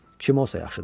Kim olsa yaxşıdır.